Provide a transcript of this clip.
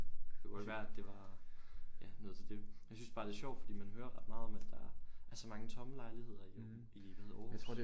Det kunne også være at det var noget til det ja noget til dét jeg synes bare sjovt fordi man hører ret meget om at der er så mange tomme lejligheder i hvad hedder det Aarhus